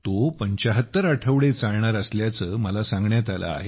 तो 75 आठवडे चालणार असल्याचे मला सांगण्यात आले आहे